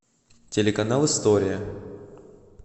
телеканал история